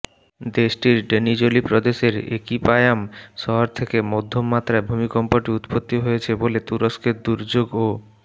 দেশটির ডেনিজলি প্রদেশের একিপায়াম শহর থেকে মধ্যম মাত্রার ভূমিকম্পটি উৎপত্তি হয়েছে বলে তুরস্কের দুর্যোগ ও